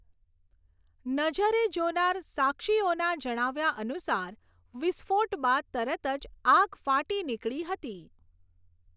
નજરે જોનાર સાક્ષીઓના જણાવ્યા અનુસાર વિસ્ફોટ બાદ તરત જ આગ ફાટી નીકળી હતી.